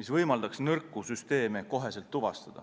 mis võimaldaks nõrku süsteeme kohe tuvastada.